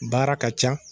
Baara ka ca